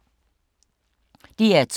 DR2